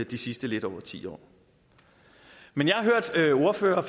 de sidste lidt over ti år men jeg har hørt ordførere